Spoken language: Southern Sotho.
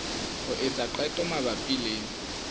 ho etsa qeto mabapi le